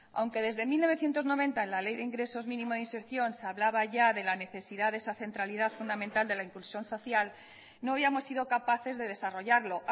aunque desde mil novecientos noventa la ley de ingresos mínimos de inserción se hablaba ya de la necesidad de esa centralidad fundamental de la inclusión social no habíamos sido capaces de desarrollarlo